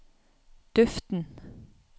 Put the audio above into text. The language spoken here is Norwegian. duften